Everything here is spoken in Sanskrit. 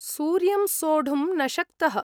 सूर्यं सोढुं न शक्तः